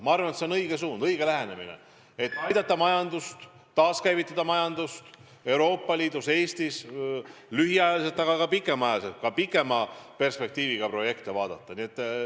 Ma arvan, et see on õige suund, õige lähenemine, et aidata majandust, taaskäivitada majandust Euroopa Liidus ja Eestis nii lühiajalisi kui ka pikema perspektiiviga projekte ellu viies.